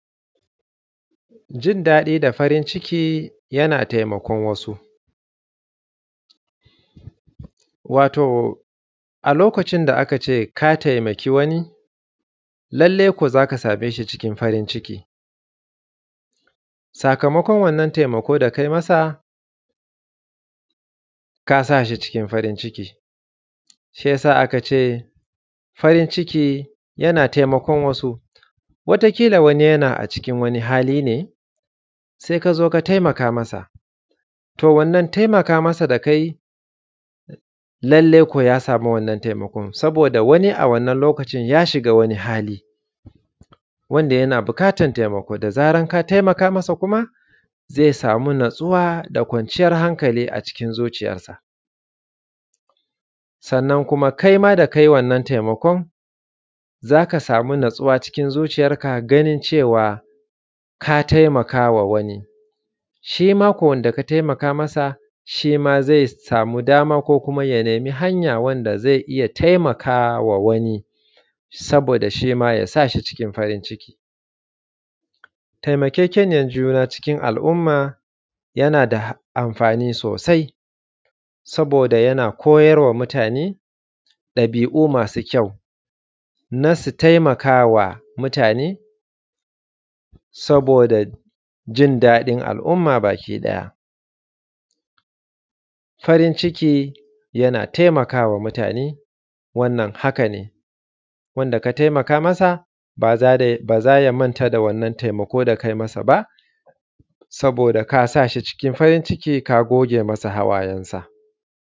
Jin daɗi da farin ciki yana taimakon wasu, wato a lokacin da aka ce ka taimaki wani lallai ko za ka same shi cikin farin ciki, sakamakon wannna taimako da kai masa ka sa shi cikin farin ciki shi ya sa aka ce farin ciki yana taimakon wasu wata ƙila wani yana a cikin wani hali ne se ka zo ka taimaka masa to wannan taimaka masa da ka yi lallai ko ya samu wannan taimakon saboda wani a wannan lokacin ya shiga wani hali wanda yana buƙatan taimako da zaran ka taimaka masa kuma ze samu natsuwa da kwarciyan hankali a cikin zuciyansa, sannan kuma kai ma da ka yi wannan taimakon za ka samu e cewa ka taimakama wani shi ma ko wanda aka taimaka masa shi ma ze samu dama sannan ya nemi hanya wanda ze iya taimaka wa wani saboda da shi ma ya sa shi farin ciki taimakekeniyan juna cikin al’umma yana da amfani sosai saboda yana koyarwa mutane ɗabi’u masu kyau na su taimaka wa mutane saboda jin daɗin al’umma bakiɗaya. Farin ciki yana taimakawa mutane wannan haka ne wanda ka taimaka masa ba za ya manta da wannan taimako da kai masa ba, saboda ka sa shi cikin farin ciki ka goge masa hawayensa.